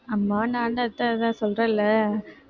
அம்மா நான் சொல்றேன்ல